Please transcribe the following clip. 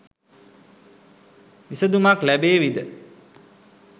විසදුමක් ලැබේවිද?